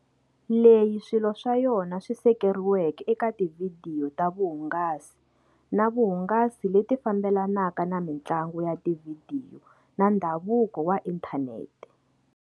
Leyi swilo swa yona swi sekeriweke eka tivhidiyo ta vuhungasi na vuhungasi leti fambelanaka na mintlangu ya tivhidiyo na ndhavuko wa inthaneti.